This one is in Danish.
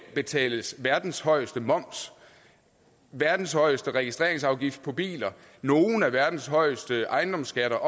betales verdens højeste moms verdens højeste registreringsafgift på biler nogle af verdens højeste ejendomsskatter og